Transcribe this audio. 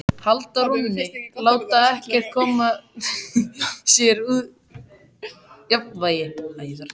Halda rónni, láta ekkert koma sér úr jafnvægi.